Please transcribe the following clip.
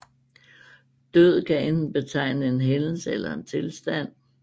Død kan enten betegne en hændelse eller en tilstand